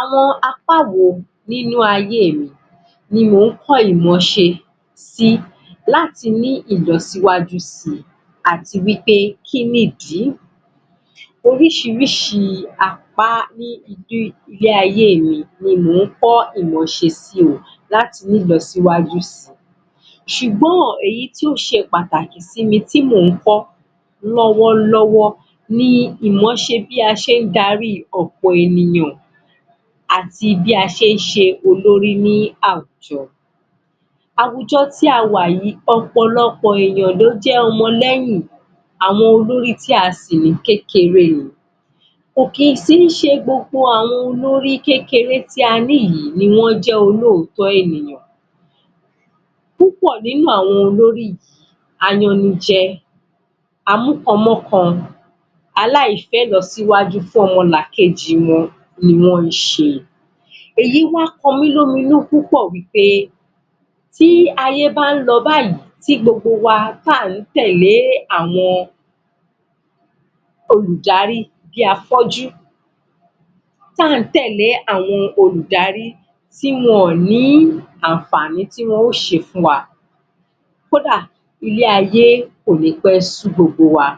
Àwọn apá wo nínú ayé mi ni mò ń kọ́ ìmọ́se si láti ní ìlọsíwájú si, àti wí pé, kí ni ìdí? oríṣìíríṣìí apá ní ilé-ayé mi, ni mò ń kọ́ ìmọṣe si, láti ní ìlọsíwájú si. ṣùgbọn, èyí tí ó ṣe pàtàkì sí mi, tí mò ń kọ́ lọ́wọ́lọ́wọ́ ni ìmọ̀ọ́ṣe bí a ṣe ń darí ọ̀pọ̀ ènìyàn àti bí a ṣe ń ṣe olórí ní àwùjọ Àwùjọ tí a wà yìí, ọpọ̀lọpọ̀ èèyàn ló jẹ́ ọmọ lẹ́yìn, àwọn olórí tí a sì ní, kékeré ni kò sì kí ń ṣẹ gbogbo olórí kékeré tí a ní yìí ni wọ́n jẹ́ olóòtọ́ ènìyàn. púpọ̀ nínú àwọn olórí yìí, arenijẹ, amúkanmọ́kan, aláìfẹ́-ìlọsíwájú ọmọlàkejì wọn, ni wọ́n ṣe. èyí wá kán mí lómi inú púpọ̀ pé tí ayé bá ń lọ báyìí tí gbogbo wa, tí à ń tẹ̀lẹ́ àwọn olùdarí bí afọ́jú, tí à ń tẹ̀lẹ́ àwọn olùdarí tí wọn ò ní àǹfààní tí wọ́n ó ṣe fún wa kódà ilé ayé kò ní pẹ́ sú gbogbo wa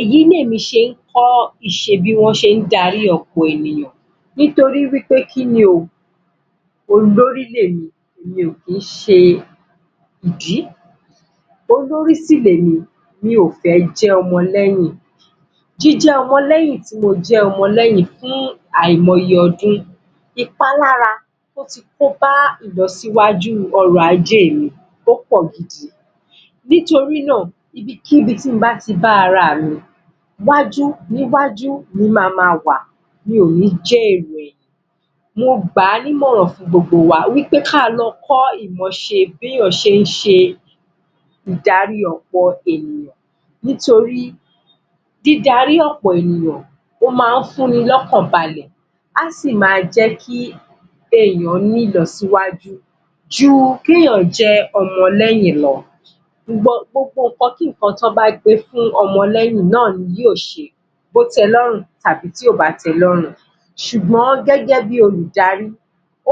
Èyí ni èmi ṣe kọ́ ìṣe bí wọ́n ṣe ń darí ọ̀pọ̀ ènìyàn, nítorí wí pé kí ni o? Olórí lèmi mi ò kí ń ṣe ìdí. olórí sì lèmi mi ò fẹ́ jẹ́ ọmọ lẹ́yìn. Jíjẹ́ ọmọ lẹ́yìn, tí mo jẹ́ ọmọ lẹ́yìn fún àìmọyẹ ọdún ìpalára tó ti kó bá ìlọsíwájú ọrọ̀ ajé mi, ó pọ̀ gidi nítorí náà, ibikíbi tí mo bá ti bá ara mi iwájú-níwájú ni mo máa wà mi ò ní jẹ́ èrò ẹ̀yìn. mo gbà á nímọ̀ràn fún gbogbo wa, wí pé kí a lọ kọ́ ìmọọṣẹ bí èèyàn ṣe ń ṣe idarí ọ̀pọ̀ ènìyàn nítorí dídarí ọ̀pọ̀ ènìyàn ó máa ń fún ni lọ́kànbalẹ̀ á sì máa jẹ́ kí èèyàn ní ìlọsíwájú, ju kí èèyàn jẹ́ ọmọlẹ́yìn lọ. Gbogbo ǹnkan kí ǹnkan tí wọ́n bá gbé fún ọmọlẹ́yìn náà ni yóò ṣe bó tẹ lọ́rùn tàbí tí ò bá tẹ lọ́rùn ṣùgbọ́n gẹ́gẹ́ bi olùdarí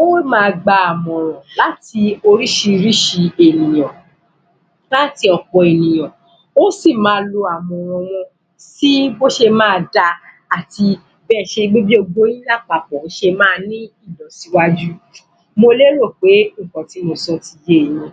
ó máa gba ìmọ̀ràn láti oríṣìíríṣìí ènìyàn láti ọ̀pọ̀ ènìyàn, ó sì máa lo àmọ̀ràn wọn sí bó ṣe máa da àti bí gbogbo yín lápapọ̀ ṣe máa ní ìlọsíwájú. Mo lérò pé ǹnkan tí mo sọ ti ye yín.